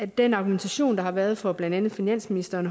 den argumentation der har været fra blandt andet finansministeren